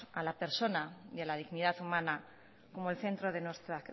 a la persona y a la dignidad humana como el centro de nuestra